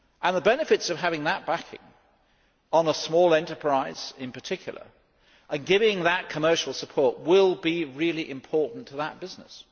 The benefits of having that backing, for a small enterprise in particular, and giving that commercial support will be really important to that business.